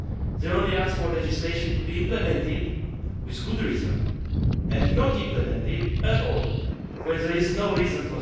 They only ask for legislation to be implemented with good reason and not implemented at all when there is no reason.